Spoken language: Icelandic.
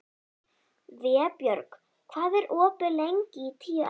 Vébjörg, hvað er opið lengi í Tíu ellefu?